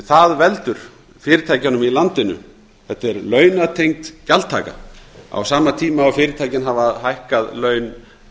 það veldur fyrirtækjunum í landinu þetta er launatengd gjaldtaka á sama tíma og fyrirtækin hafa hækkað laun